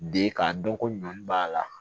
Den k'a dɔn ko ɲɔn b'a la